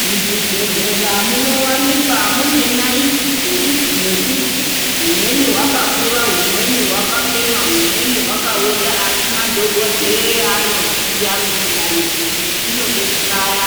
Muzvibhodhlera munowanika mune ndaiti dzerudzi nerudzi rwumweni rwakakura rwumweni rwakafema rwumweni rwakaona asi madhokodheya anoziya kuti naiti iyi inode kubaya